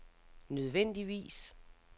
nødvendigvis